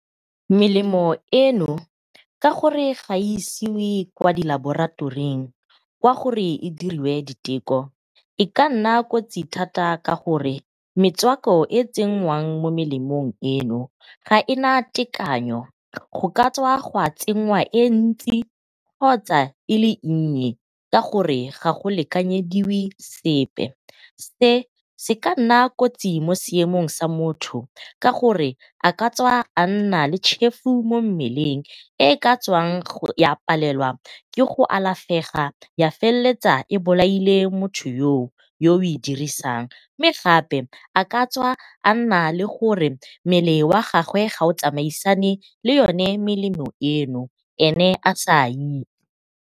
Melemo eno ka gore ga e isiwe ko di laboratoring kwa gore e diriwe diteko e ka nna kotsi thata ka gore metswako e e tsenngwang mo melemong eno ha ena tekanyo go ka tswa ga tsenngwa ele ntsi kgotsa e nnye ka gore ga go lekanyediwe sepe. Se se ka nna kotsi mo seemong sa motho ka gore a ka tswa a nna le tšhefu mo mmeleng e e ka tswang ya palelwa ke go alafega. Ya feleletsa e bolaile motho yoo, yo o e dirisang mme gape a katswa a nna le gore mmele wa gage ga o tsamaisane le yone melemo eno ene a sa .